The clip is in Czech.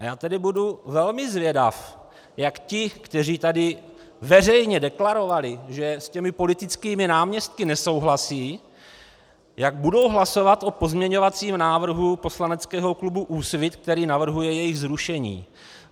A já tedy budu velmi zvědav, jak ti, kteří tady veřejně deklarovali, že s těmi politickými náměstky nesouhlasí, jak budou hlasovat o pozměňovacím návrhu poslaneckého klubu Úsvit, který navrhuje jejich zrušení.